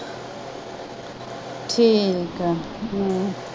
ਠੀਕ ਆ